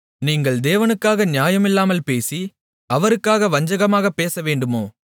நீங்கள் தேவனுக்காக நியாயமில்லாமல் பேசி அவருக்காக வஞ்சகமாகப் பேசவேண்டுமோ